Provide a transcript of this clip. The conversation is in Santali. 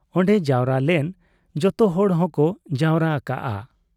ᱚᱱᱰᱮ ᱡᱟᱣᱨᱟ ᱞᱮᱱ ᱡᱚᱛᱚᱦᱚᱲ ᱦᱚᱸᱠᱚ ᱡᱟᱣᱨᱟ ᱟᱠᱟᱜ ᱟ ᱾